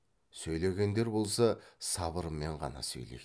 сөйлегендер болса сабырмен ғана сөйлейді